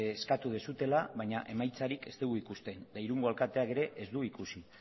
eskatu duzuela baina emaitzarik ez dugu ikusten eta irungo alkateak ere ez du ikusi